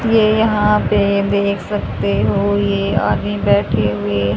ये यहां पे देख सकते हो ये आदमी बैठे हुए--